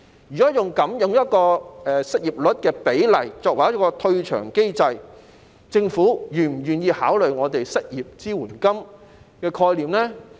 如果以失業率數字作為退場機制，政府是否願意考慮我們提出的失業支援金的概念呢？